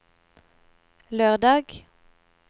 lørdag